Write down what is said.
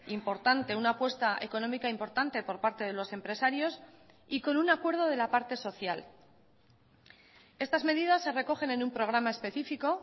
importante una apuesta económica importante por parte de los empresarios y con un acuerdo de la parte social estas medidas se recogen en un programa específico